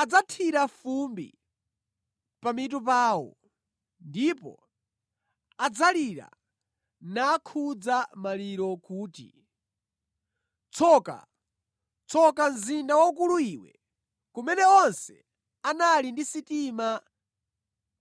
Adzathira fumbi pamitu pawo ndipo adzalira nakhuza maliro kuti, “Tsoka! Tsoka mzinda waukulu iwe, kumene onse anali ndi sitima